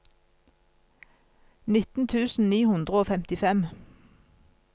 nitten tusen ni hundre og femtifem